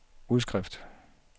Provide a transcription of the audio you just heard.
udskrift